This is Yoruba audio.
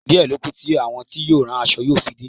Díẹ̀ lọ kú to àwọn tí yóò rán aṣọ yóò fi dé.